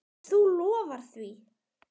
Þú lofar því?